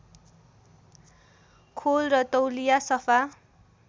खोल र तौलिया सफा